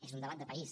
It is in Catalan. és un debat de país